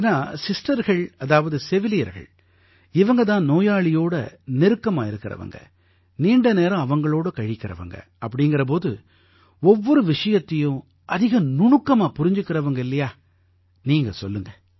ஏன்னா சிஸ்டர்கள் அதாவது செவிலியர்கள் இவங்க தான் நோயாளியோடு நெருக்கமாக இருக்கறவங்க நீண்ட நேரம் அவங்களோட கழிக்கறவங்க அப்படீங்கற போது ஒவ்வொரு விஷயத்தையும் அதிக நுணுக்கமாப் புரிஞ்சுக்கறவங்க இல்லையா நீங்க சொல்லுங்க